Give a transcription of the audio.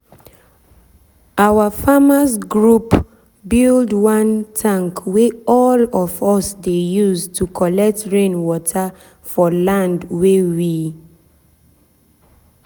our farmers’ group build one tank wey all of us dey use to collect rain water for land wey we